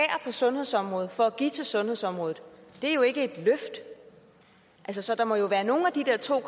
på sundhedsområdet for at give til sundhedsområdet det er jo ikke et løft så så der må jo være nogle af de der to